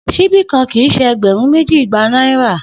Sibi kan kii ṣe ẹgbẹrun meji igba naira.